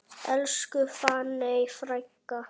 Elsku fanney frænka.